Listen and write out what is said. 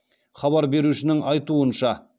хабар берушінің айтуынша